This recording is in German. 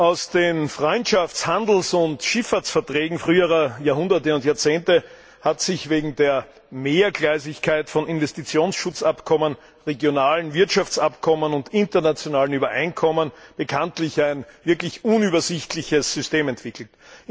Aus den Freundschafts Handels und Schifffahrtsverträgen früherer Jahrhunderte und Jahrzehnte hat sich wegen der Mehrgleisigkeit von Investitionsschutzabkommen, regionalen Wirtschaftsabkommen und internationalen Übereinkommen bekanntlich ein wirklich unübersichtliches System entwickelt.